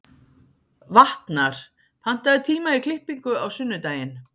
Vatnar, pantaðu tíma í klippingu á sunnudaginn.